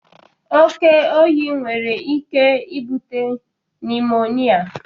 Oke oyi nwere ike ibute nimonịa